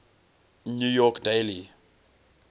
new york daily